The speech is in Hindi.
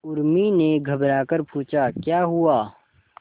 उर्मी ने घबराकर पूछा क्या हुआ